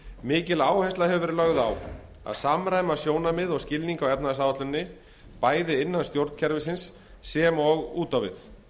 mikil áhersla hefur verið lögð á að samræma sjónarmið og skilning á efnahagsáætluninni bæði innan stjórnkerfisins sem og út á við